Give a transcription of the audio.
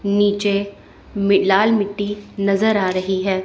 नीचे में लाल मिट्टी नजर आ रही है।